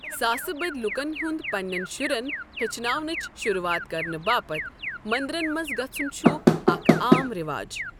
ساسہٕ بٔدۍ لوٗکَن ہُنٛد پنِنٮ۪ن شُرٮ۪ن ہیٚچھناونِچ شروٗعات کرنہٕ باپتھ مٔنٛدرَن منٛز گژھُن چھُ اکھ عام رٮ۪واج۔